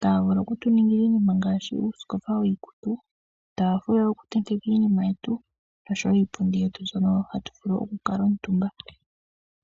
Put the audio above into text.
Taya vulu oku tu ningila iinima ngaashi uusikopa wiikutu, uutaafula woku tenteka iinima yetu osho wo iipundu yetu mbyono hatu vulu oku kala omutumba.